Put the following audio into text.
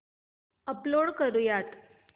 upload करुयात